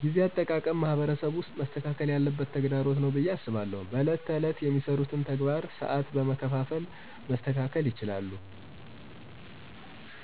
ጊዜ አጠቃቀም ማህበረሰብ ውስጥ መስተካከል ያለበት ተግዳሮት ነው ብየ አስባለሁ። በዕለት ተዕለት የሚሰሩትን ተግባር ሰዓትን በመከፋፈል መስተካከል ይችላሉ